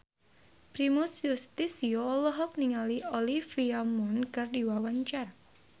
Primus Yustisio olohok ningali Olivia Munn keur diwawancara